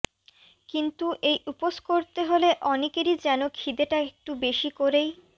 কিন্তু এই উপোস করতে হলে অনেকেরই যেন ক্ষিদেটা একটু বেশী করেই